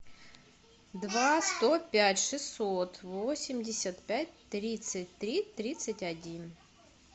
два сто пять шестьсот восемьдесят пять тридцать три тридцать один